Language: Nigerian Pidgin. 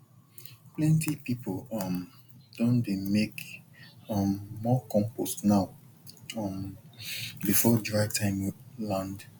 plenty people um don dey make um more compost now um before dry time land